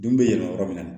Den bɛ yɛlɛ yɔrɔ min na